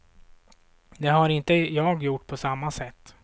Det har inte jag gjort på samma sätt.